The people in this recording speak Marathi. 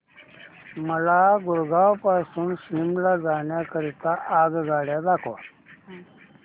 मला गुरगाव पासून शिमला जाण्या करीता आगगाड्या दाखवा